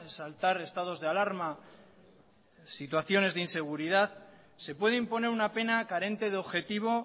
exaltar estados de alarma o situaciones de inseguridad se puede imponer una pena carente de objetivo